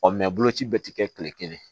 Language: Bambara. Ɔ mɛ boloci be te kɛ kile kelen